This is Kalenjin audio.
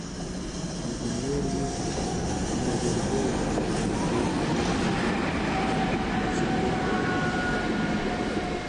Kikinyor ye makarkei tipik ak werik ko ipu pichiindo neo